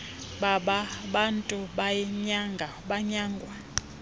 baba bantu banyangwa